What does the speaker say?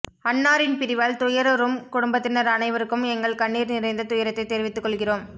அன்னாரின் பிரிவால் துயருறும் குடும்பத்தினர் அனைவருக்கும் எங்கள் கண்ணீர் நிறைந்த துயரத்தை தெரிவித்துக் கொள்கிறோம்